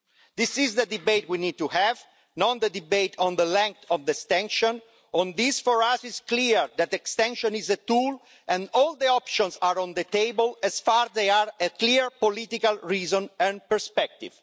This is the debate we need to have, not the debate on the length of the extension. This, for us is clear the extension is a tool and all the options are on the table as long as there is a clear political reason and perspective.